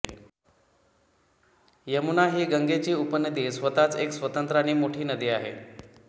यमुना ही गंगेची उपनदी स्वतःच एक स्वतंत्र आणि मोठी नदी आहे